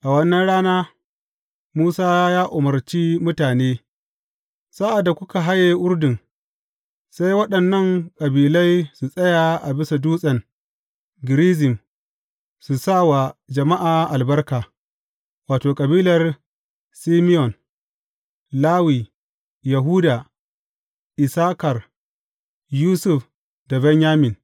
A wannan rana Musa ya umarce mutane, Sa’ad da kuka haye Urdun, sai waɗannan kabilai su tsaya a bisa Dutsen Gerizim su sa wa jama’a albarka, wato, kabilar Simeyon, Lawi, Yahuda, Issakar, Yusuf da Benyamin.